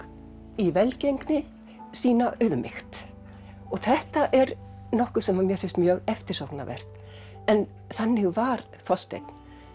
í velgengni sýna auðmýkt og þetta er nokkuð sem að mér finnst mjög eftirsóknarvert en þannig var Þorsteinn